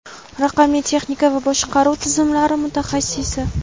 raqamli texnika va boshqaruv tizimlari mutaxassisi.